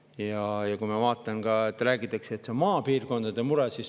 Ja ma ka, et räägitakse, et see on maapiirkondade mure.